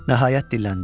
Nəhayət, dilləndim.